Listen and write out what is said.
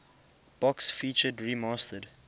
box featured remastered